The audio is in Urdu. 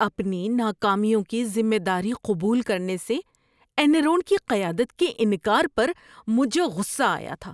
اپنی ناکامیوں کی ذمہ داری قبول کرنے سے اینرون کی قیادت کے انکار پر مجھے غصہ آیا تھا۔